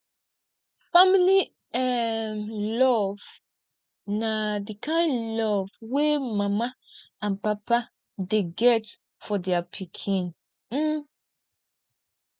family um love na de kind love wey mama and papa dey get for dia pikin um